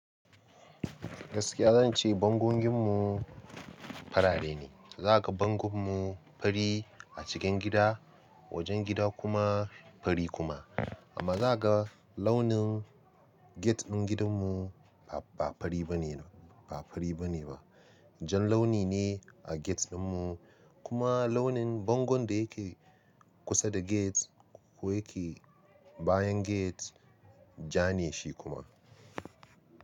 Gaskiya zan ce bangon gidanmu farare ne. Za ka ga bangon mu fari a cikin gida, wajen gida kuma fari kuma. Amma za ka ga launin gate ɗin gidanmu ba fari bane, ba fari bane ba. Jan launi ne a gate ɗinmu kuma launin bangon da yake kusa da gate ko yake bayan gate jane shi kuma.